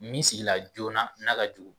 Min sigila joona n'a ka jugu